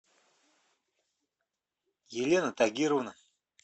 елена тагировна